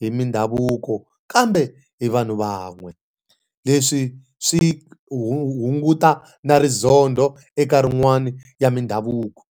hi mindhavuko kambe hi vanhu van'we. Leswi swi hu hunguta na rizondho eka rin'wani ya mindhavuko.